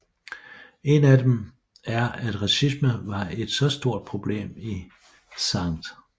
En af dem er at racisme var et så stort problem i St